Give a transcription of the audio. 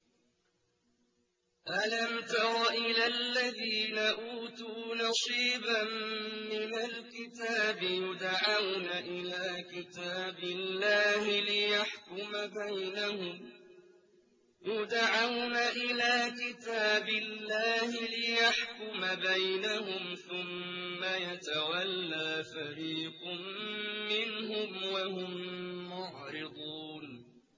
أَلَمْ تَرَ إِلَى الَّذِينَ أُوتُوا نَصِيبًا مِّنَ الْكِتَابِ يُدْعَوْنَ إِلَىٰ كِتَابِ اللَّهِ لِيَحْكُمَ بَيْنَهُمْ ثُمَّ يَتَوَلَّىٰ فَرِيقٌ مِّنْهُمْ وَهُم مُّعْرِضُونَ